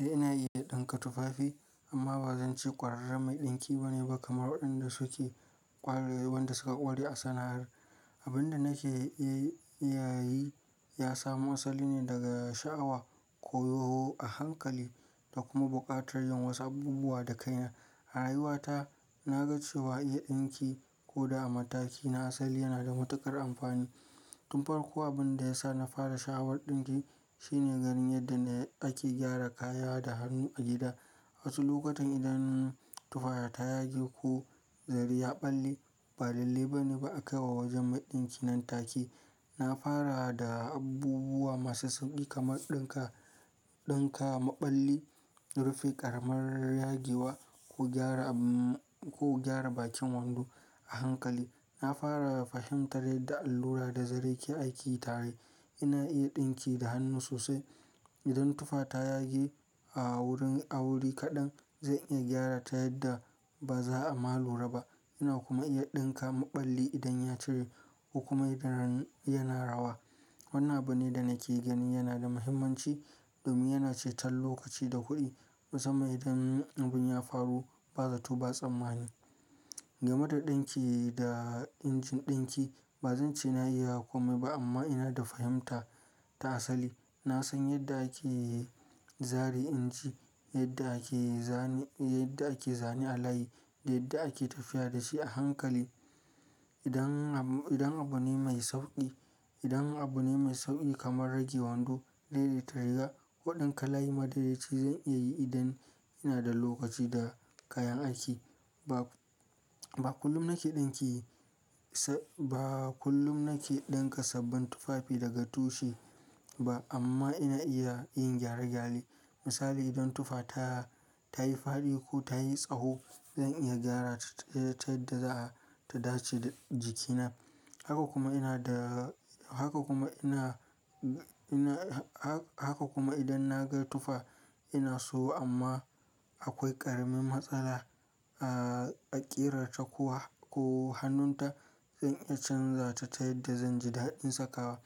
Eh ina iya ɗinka tufafi amma ba zan ce ƙwararre mai ɗinki ba ne ba kamar waɗanda suke ƙware wanda suka ƙware a sana'ar. Abin da nake yi ya samo asali ne daga sha'awa, koyo a hankali da kuma buƙatar yin wasu abubuwa da kaina. A rayuwata na ga cewa iya ɗinki ko da a mataki na asali yana da matuƙar amfani. Tun farko abin da ya sa na fara sha'awar ɗinki shine garin yadda ake gyara kaya da hannu a gida. Wasu lokutan idan tufa ta yage ko zari ya ɓalle ba lalle ba ne ba a kai wa wajen mai ɗinki nan take. Na fara da abubuwa masu sauƙi kamar ɗinka, ɗinka maɓalli, rufe ƙaramin yagiwa ko gyara, ko gyara bakin wando a hankali. Na fara fahimtar yadda allura da zare ke aiki tare. Ina iya ɗinki da hannu sosai. Idan tufa ta yage a wurin, a wuri kaɗan zan iya gyara ta yadda ba za a ma lura ba. Ina kuma iya ɗinka maɓalli idan ya cire ko kuma idan yana rawa. Wannan abune da nake ganin yana da muhimmanci domin yana ceton lokaci da kuɗi. Musamman idan abun ya faru ba zato ba tsammani. Game da ɗinki da injin ɗinki ba zan ce na iya komai ba amma ina da fahimta ta asali. Na san yadda ake zare inji, yadda ake zane, yadda ake zane a layi da yadda ake tafiya da shi a hankali. Idan, idan abu ne mai sauƙi, idan abu ne mai sauƙi kamar rage wando, daidaita riga, waɗannan kalai madaraice zan iya yi idan ina da lokaci da kayan aiki. Ba, ba kullum nake ɗinki, ba kullum nake ɗinka sabbin tufafi daga tushe ba amma ina iya yin gyare-gyare. Misali idan tufa ta, ta yi fadi ko ta yi tsaho zan iya gyara ta ta yadda za ta dace da jikina. Haka kuma ina da, haka kuma ina, ina, ha-haka kuma idan na ga tufa ina so amma akwai ƙaramin matsala, a ƙera ta kuwa ko hannunta in iya canza ta ta yadda zan ji daɗin sakawa.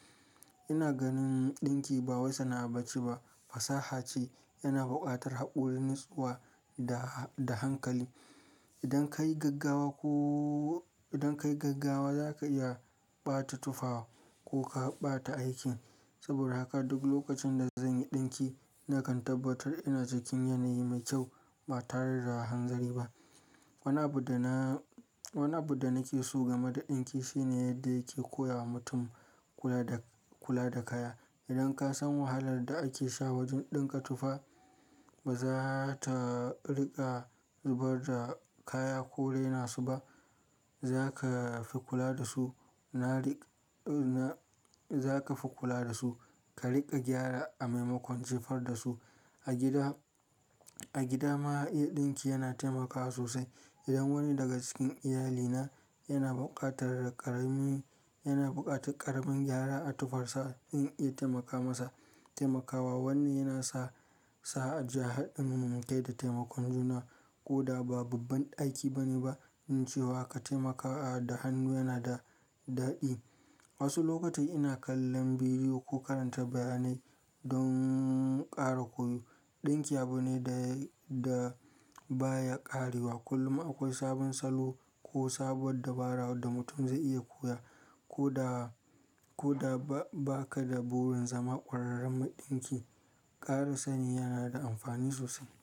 Ina ganin ɗinki ba wassana ba ce ba fasaha ce yana buƙatar hakuri nutsuwa da, da hankali. Idan ka yi gaggawa ko, idan ka yi gaggawa za ka iya ɓata tufafa ko ka ɓata aikin. Saboda haka duk lokacin da zan yi ɗinki nakan tabbatar ina cikin yanayi mai kyau ba tare da hanzari ba. Wani abu da na, wani abu da nake so game da ɗinki shine yadda yake koya wa mutum kula da, kula da kaya. Idan ka san wahalar da ake sha wajen ɗinka tufa ba za ta riƙa zubar da kaya ko raina su ba. Za ka fi kula da su. Na riƙ, na, za ka fi kula da su. Ka riƙa gyara a maimakon jefar da su. A gida, a gida ma iya ɗinki yana taimakawa sosai. Idan wani daga cikin iyalina yana buƙatar ƙaramin, yana buƙatar ƙaramin gyara a tufarsa in iya taimaka masa. Taimakawa wannan yana sa, sa a ji ha gaida taimakon juna ko da ba babban aiki bane ba in ce wa ka taimaka a da hannu yana da daɗi. Wasu lokatai ina kallon bidiyo ko karanta bayanai don ƙara koyo. Ɗinki abu ne da, da baya ƙarewa. Kullum akwai sabon salo ko sabuwar dabara wanda mutum zai iya koya ko da, ko da ba ka da burin zama ƙwararren maɗinki, ƙara sani yana da amfani sosai.